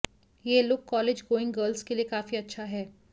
ये look college going girls के लिये काफी अच्छा है